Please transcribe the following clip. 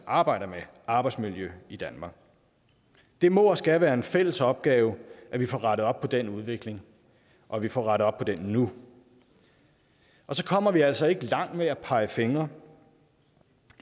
arbejder med arbejdsmiljø i danmark det må og skal være en fælles opgave at vi får rettet op på den udvikling og at vi får rettet op på den nu og så kommer vi altså ikke langt med at pege fingre